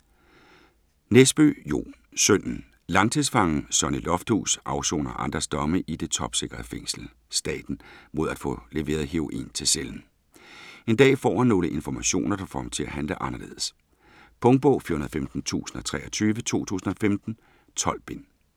Nesbø, Jo: Sønnen Langtidsfangen Sonny Lofthus afsoner andres domme i det topsikrede fængsel Staten mod at få leveret heroin til cellen. En dag får han nogle informationer, der får ham til at handle anderledes. Punktbog 415023 2015. 12 bind.